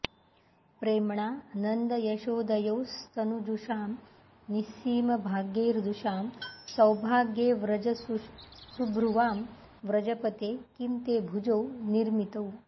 प्रेम्णा नन्दयशोदयोस्तनुजुषां निःसीमभाग्यैर्दृशां सौभाग्यैर्व्रजसुभ्रुवां व्रजपते किं ते भुजौ निर्मितौ